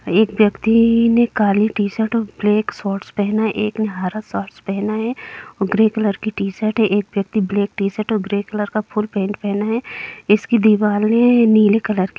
एक व्यक्ति ने काली टी-शर्ट ब्लैक शॉर्ट्स पहने एक ने हरा शॉर्ट्स पहना है और ग्रे कलर की टी-शर्ट है एक व्यक्ति ब्लैक टी-शर्ट और ग्रे कलर का फुल पैन्ट पहना है इसकी दीवाले नीले कलर --